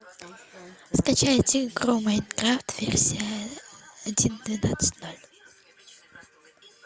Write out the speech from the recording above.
скачайте игру майнкрафт версия один двенадцать ноль